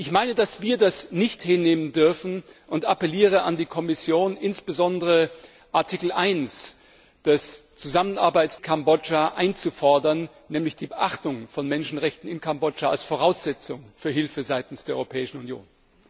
Ich meine, dass wir das nicht hinnehmen dürfen, und appelliere an die Kommission, insbesondere Artikel 1 des Kooperationsabkommens mit Kambodscha einzufordern, nämlich die Achtung der Menschenrechte in Kambodscha als Voraussetzung für Hilfe seitens der Europäischen Union.